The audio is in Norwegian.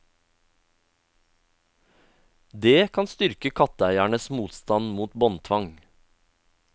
Det kan styrke katteeiernes motstand mot båndtvang.